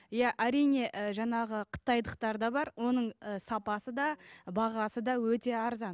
иә әрине ы жаңағы қытайлықтар да бар оның ы сапасы да бағасы да өте арзан